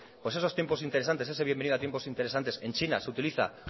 pues eso tiempos interesantes ese bienvenidos a tiempos interesantes en china se utiliza